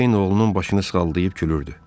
Ceyn oğlunun başını sığalayıb gülürdü.